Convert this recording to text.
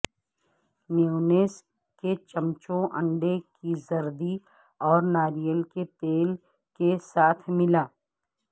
mayonnaise کے چمچوں انڈے کی زردی اور ناریل کے تیل کے ساتھ ملا